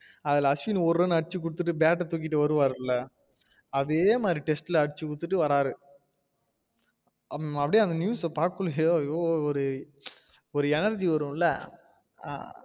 அதுல அஸ்வின் ஒரு run அடிச்சு குடுத்திட்டு bat ஆ தூக்கிட்டு வருவாருள்ள அதே மாறி test ல அடிச்சு குடுத்திட்டு வறாரு அப்டியே அந்த news ல பாக்கணும் ஐயோ அப்டி ஒரு energy வரும்ல